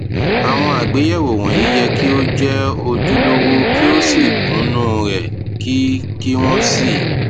àwọn àgbéyẹwò wọnyí yẹ kí ó jẹ ojúlówó kí ó sì kúnnú rẹ kí kí wọn sì